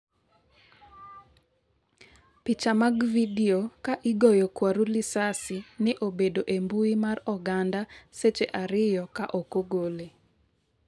picha mag vidio ka igoyo kwaru lisasi ne obedo e mbui mar oganda seche ariyo ka ok ogole